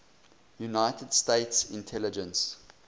united states intelligence